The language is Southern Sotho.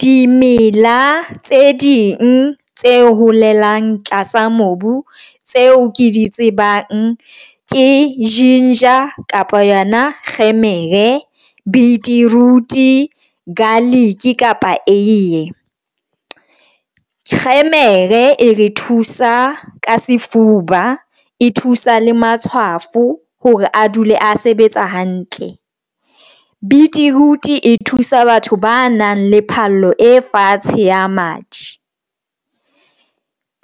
Dimela tse ding tse holelang tlasa mobu tseo ke di tsebang ke ginger kapa yona kgemere beetroot, garlic kapa eiye. Kgemere e re thusa ka sefuba e thusa le matshwafo hore a dule a sebetsa hantle. Beetroot e thusa batho ba nang le phallo e fatshe ya madi.